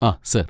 ആ സാർ.